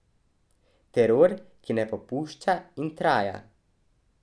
Teror, ki ne popušča in traja.